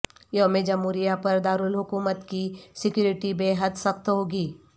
یوم جمہوریہ پر دارالحکومت کی سکیورٹی بے حد سخت ہوگی